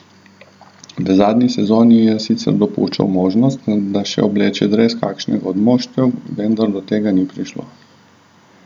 V zadnji sezoni je sicer dopuščal možnost, da še obleče dres kakšnega od moštev, vendar do tega ni prišlo.